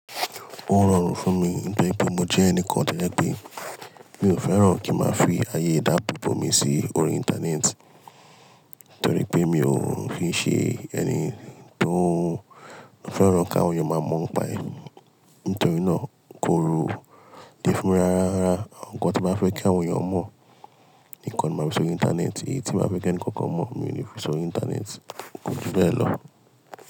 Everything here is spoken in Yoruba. Ó rọrùn fún mi nítorí pé mo jẹ́ ẹnìkan tojẹ̀ pé mi ò fẹ́ràn kí n máa fi àyè ìdáábòbò mi sí orí Íńtánẹ́ẹ̀tì nítorí pé mi ò kín ṣé ẹni tó fẹ́ràn kí àwọn èèyàn máa mọ̀ n'pa è. Nítorí náà, kò le fún mi rárá. Àwọn nǹkan tí m'ba fẹ́ kí àwọn èèyàn mọ̀ nìkan ni mo màá n fi s'orí Íńtánẹ́ẹ̀tì. Èyí tí m'bá fẹ́ k'ẹni kankan mọ̀, mí ò ní fi s'orí Íńtánẹ́ẹ̀tì, kò ju bẹ́ẹ̀ lọ.